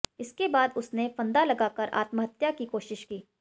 इसके बाद उसने फंदा लगाकर आत्महत्या की कोशिश की